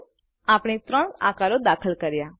તો આપણે ત્રણ આકારો દાખલ કર્યા